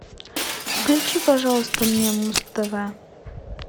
включи пожалуйста мне муз тв